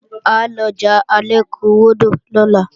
À lọjà Alékúwọdò lọ́la